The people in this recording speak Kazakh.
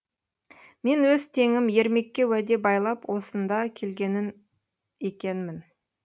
мен өз теңім ермекке уәде байлап осында екенмін